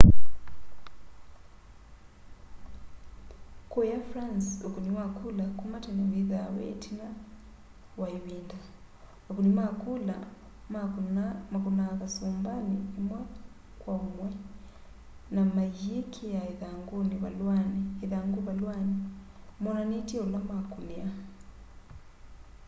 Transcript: kũya france ũkũnĩ wa kũla kũma tene wĩthaa wĩ ĩtina wa ĩvĩnda : akũnĩ makũla makũnĩ kasũmbanĩ ũmwe kwo mwe na mayĩkĩa ĩthangũ valũanĩ monanĩtye ũla makũnĩa